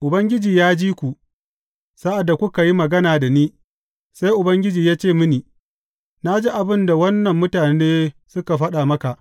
Ubangiji ya ji ku, sa’ad da kuka yi magana da ni, sai Ubangiji ya ce mini, Na ji abin da wannan mutane suka faɗa maka.